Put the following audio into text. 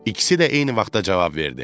İkisi də eyni vaxtda cavab verdi: